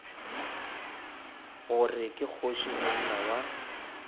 gore ke kgoši monna wa